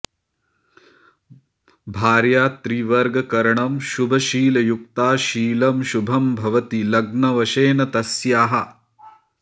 भार्या त्रिवर्गकरणं शुभशीलयुक्ता शीलं शुभं भवति लग्नवशेन तस्याः